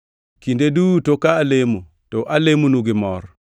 Kinde duto ka alemonu, to alemonu gi mor,